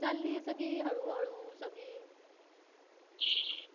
चाललीये सगळी हळूहळू सगळी